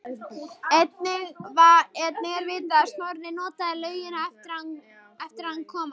Einnig er vitað að Snorri notaði laugina eftir að hann kom að